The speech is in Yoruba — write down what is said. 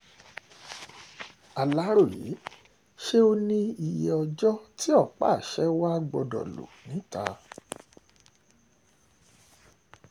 aláròye ṣé ó níye ọjọ́ tí ọ̀pá-àṣẹ wàá gbọdọ̀ lọ níta